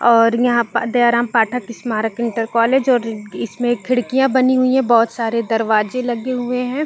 और यहाँ पर दयाराम पाठक स्मारक इन्टर कॉलेज और इसमे एक खिड़किया बनी हुई हैं बहोत सारे दरवाजे लगे हुए है।